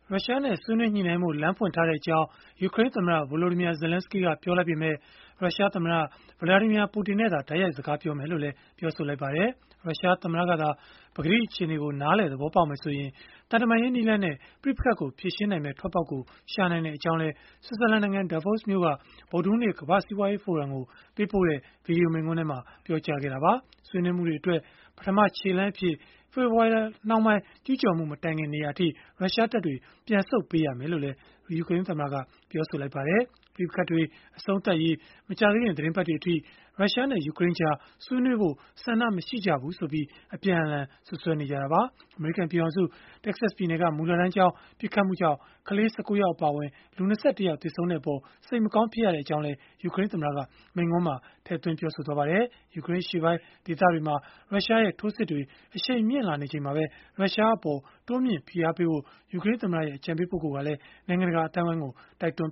ရုရှားနဲ့ ဆွေးနွေးညှိနှိုင်းဖို့ လမ်းဖွင့်ထားကြောင်း ယူကရိန်းသမ္မတ Volodymyr Zelenskyy က ပြောလိုက်ပေမဲ့ ရုရှားသမ္မတ Vladimir Putin နဲ့သာ တိုက်ရိုက် စကားပြောမယ်လို့ ပြောပါတယ်။ ရုရှားသမ္မတသာ ပကတိအခြေအနေကို နားလည်သဘောပေါက်မယ်ဆိုရင် သံတမန်ရေး နည်းလမ်းနဲ့ ပဋိပက္ခကို ဖြေရှင်းနိုင်မယ့် ထွက်ပေါက်ရှာနိုင်ကြောင်းလည်း ဆွစ်ဇာလန်နိုင်ငံ Davos မြို့က ဗုဒ္ဓဟူးနေ့ ကမ္ဘာ့စီးပွားရေးဖိုရမ်ကို ပေးပို့ခဲ့တဲ့ ဗွီဒီယိုမိန့်ခွန်းမှာ ပြောကြားခဲ့တာပါ။ ဆွေးနွေးမှုတွေအတွက် ပထမခြေလှမ်းအဖြစ် ဖေဖော်ဝါရီလနှောင်းပိုင်း ကျုးကျော်မှု မတိုင်ခင် နေရာအထိ ရုရှားတပ်တွေ ပြန်ဆုတ်ပေးရလိမ့်မယ်လို့လည်း ပြောပါတယ်။ ပဋိပက္ခတွေ အဆုံးသတ်ရေး မကြာသေးခင် သီတင်းပတ်တွေအထိ ရုရှားနဲ့ ယူကရိန်းကြား ဆွေးနွေးဖို့ ဆန္ဒမရှိကြဘူးဆိုပြီး အပြန်အလှန် စွပ်စွဲနေကြတာပါ။ အမေရိကန် ပြည်ထောင်စု တက္ကဆက်ပြည်နယ်က မူလတန်းကျောင်းမှာ ပစ်ခတ်မှုကြောင့် ကလေး ၁၉ ယောက် အပါအဝင် ၂၁ ယောက် သေဆုံးခဲ့တဲ့အပေါ် စိတ်မကောင်း ဖြစ်ရကြောင်းလည်း ယူကရိန်းသမ္မတက မိန့်ခွန်းမှာ ထည့်သွင်းပြောဆိုခဲ့ပါတယ်။ ယူကရိန်းအရှေ့ပိုင်း ဒေသတွေမှာ ရုရှားရဲ့ထိုးစစ်တွေ အရှိန်မြှင့်လာနေချိန်မှာပဲ ရုရှားအပေါ် တိုးမြှင့်ဖိအားပေးဖို့ ယူကရိန်းသမ္မတရဲ့ အကြံပေးပုဂ္ဂိုလ်က နိုင်ငံတကာ အသိုင်းအဝိုင်းကို တိုက်တွန်း